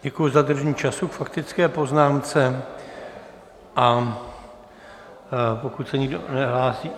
Děkuji za dodržení času k faktické poznámce, a pokud se nikdo nehlásí...